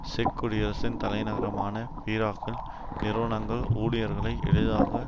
செக்குடியரசின் தலைநகரான பிராக்கில் நிறுவனங்கள் ஊழியர்களை எளிதாக